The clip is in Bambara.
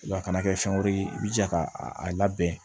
Wa a kana kɛ fɛn wɛrɛ ye i b'i jija k'a a labɛn